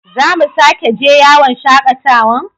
Za mu sake je yawon shakatawan?